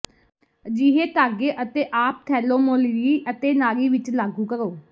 ਅਜਿਹੇ ਧਾਗੇ ਅਤੇ ਆਪਥੈਲੋਮੋਲਾਿੀ ਹੈ ਅਤੇ ਨਾਰੀ ਵਿਚ ਲਾਗੂ ਕਰੋ